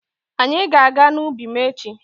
Anyị ga-aga n'ubi m echi.